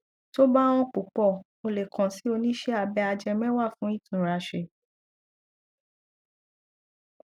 tó bá hàn púpọ o lè kàn sí oníṣẹ abẹ ajẹmẹwà fún ìtúnraṣé